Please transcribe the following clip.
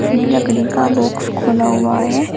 इसमें लकड़ी का बॉक्स खुला हुआ है।